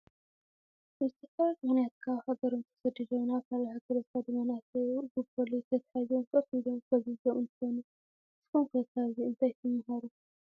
ብዝተፈላለዩ ምክንያት ካብ ሃገሮም ተሰዲዶም ናብ ካልእ ሃገር ዝኸዱ መናእሰይ ብፖሊስ ተታሒዞም ኮፍ ኢሎም ፈዚዞም እንትኮኑ፣ ንስኩም ከ ካብዚ እንታይ ትማሃሩ?